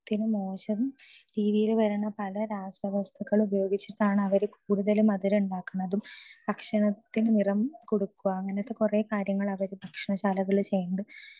speaker 2 ശരീരത്തിന് മോശം രീതിയിൽ വരുന്ന പല രാസവസ്തുക്കൾ ഉപയോഗിച്ചിട്ടാണ് അവര് കൂടുതലും മധുരം ഉണ്ടാക്കുന്നതും ഭക്ഷണത്തിന് നിറം കൊടുക്കുക അങ്ങനത്തെ കുറെ കാര്യങ്ങള് അവര് ഭക്ഷണശാലകളിൽ ചെയ്യുന്നുണ്ട്